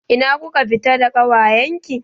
Ina kuka fita da ƙawayen ki?